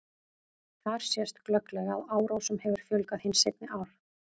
Þar sést glögglega að árásum hefur fjölgað hin seinni ár.